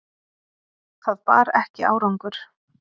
Það bar ekki árangur.